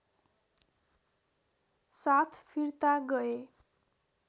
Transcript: साथ फिर्ता गए